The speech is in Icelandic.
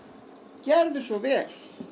gerðu svo vel